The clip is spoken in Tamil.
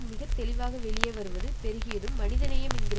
மிக தெளிவாக வெளியேவருவது பெருகியதும் மனிதநேயம் என்கிற